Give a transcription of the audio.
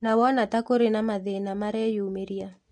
Na wona ta kũrĩ na mathĩna mareyumĩria